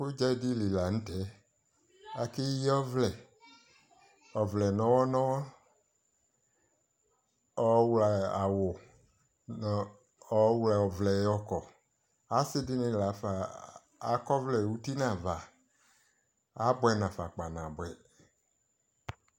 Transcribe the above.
ʋgyadili lantʒ, akʒyii ɔvlʒʒ, ɔvlʒnɔhɔhɔ ɔwlʒ awʋ, nʋ ʒwlʒʒ ɔvlʒʒ yɔkɔ, asii dini lafa akɔ ɔvlʒʒ uti nʋ aɣa, abʋʒnafa gbanaabʋʒ